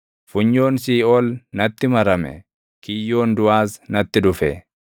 Funyoon siiʼool natti marame; kiyyoon duʼaas natti dhufe.